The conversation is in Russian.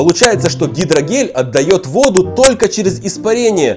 получается что гидрогель отдаёт воду только через испарение